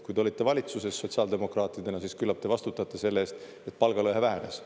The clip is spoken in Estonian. Kui te olite valitsuses sotsiaaldemokraatidena, siis küllap te vastutate selle eest, et palgalõhe vähenes.